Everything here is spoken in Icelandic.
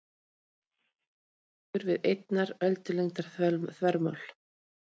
Takmörkunin liggur við einnar öldulengdar þvermál.